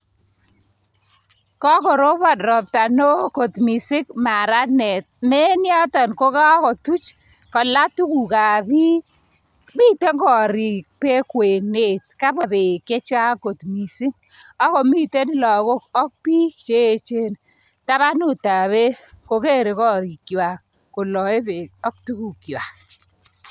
Ko korobon rapta neo kot mising, maranet ne eng yotok kokotuch tola tukuk ab bik. Miten korik bek kwenet kapwa bek chechang kot mising, akomiten lagok ak bik che echen tabanutab bek kokerei korikwai koloei bek ak tukukwai .